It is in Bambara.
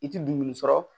I ti dumuni sɔrɔ